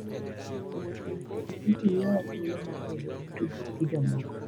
Wuoth e wi pikipiki miyowa thuolo mar bedo gi tudruok gi jomoko.